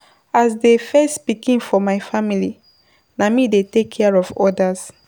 As di first pikin for my family, na me dey take care of others.